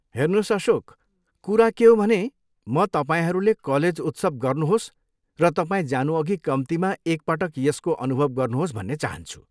हेर्नुहोस् अशोक, कुरा के हो भने म तपाईँहरूले कलेज उत्सव गर्नुहोस् र तपाईँ जानुअघि कम्तीमा एक पटक यसको अनुभव गर्नुहोस् भन्ने चाहान्छु।